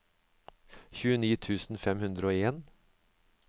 tjueni tusen fem hundre og en